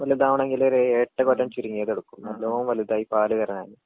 ഇപ്പിന്നിട്ടാണെങ്കിലൊരേഴെട്ട് കൊല്ലം ചുരുങ്ങ്യേതിട്ക്കും നല്ലോം വലുതായി പാല് വരാനായി.